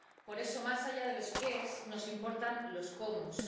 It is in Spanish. Por eso, más allá de los qués, nos importan los cómos.